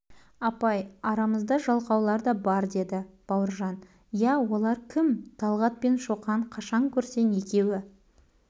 апай арамызда жалқаулар да бар деді бауыржан ия олар кім талғат пен шоқан қашан көрсең екеуі